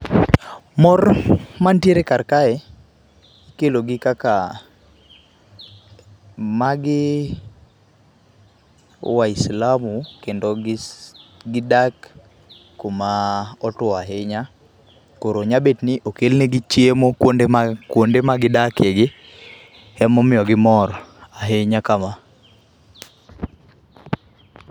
Mor mantiere kar kae ikelo gi kaka, magi waislamu kendo gidak kuma otuo ahinya kero nyalo bet ni okel negi chiemo kuonde ma gidakie gi ema omiyo gimor ahinya.